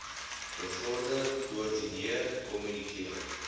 bevorder koördineer kommunikeer